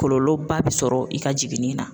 Kɔlɔlɔba bɛ sɔrɔ i ka jiginni na.